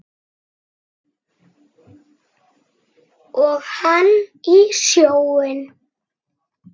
Og hann í sjóinn.